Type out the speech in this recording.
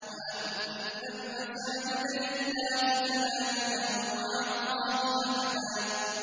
وَأَنَّ الْمَسَاجِدَ لِلَّهِ فَلَا تَدْعُوا مَعَ اللَّهِ أَحَدًا